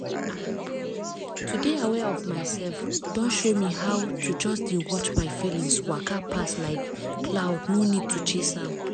ah! to dey aware of myself don show me how to just dey watch my feelings waka pass like cloud no need to chase am.